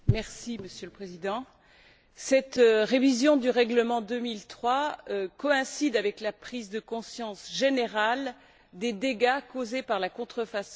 Monsieur le Président, cette révision du règlement 2003 coïncide avec la prise de conscience générale des dégâts causés par la contrefaçon.